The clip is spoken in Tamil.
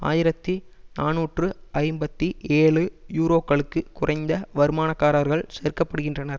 ஆயிரத்தி நாநூற்று ஐம்பத்தி ஏழு யூரோக்களுக்கு குறைந்த வருமானக்காரர்கள் சேர்க்கப்படுகின்றனர்